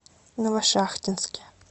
новошахтинске